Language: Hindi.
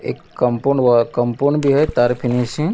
एक कंपाऊंड व कंपाऊंड भी है तार --